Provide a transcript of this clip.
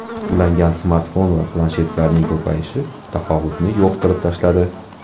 Ulangan smartfon va planshetlarning ko‘payishi tafovutni yo‘q qilib tashladi.